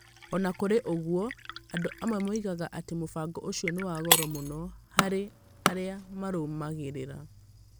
O na kũrĩ ũguo, andũ amwe moigaga atĩ mũbango ũcio nĩ wa goro mũno harĩ arĩa marũmagĩrĩra.